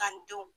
Ka n denw